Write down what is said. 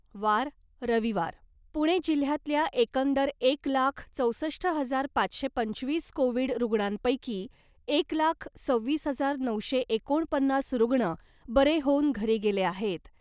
वार, रविवार, पुणे जिल्ह्यातल्या एकंदर एक लाख चौसष्ट हजार पाचशे पंचवीस कोविड रुग्णांपैकी एक लाख सव्वीस हजार नऊशे एकोणपन्नास रुग्ण बरे होऊन घरी गेले आहेत .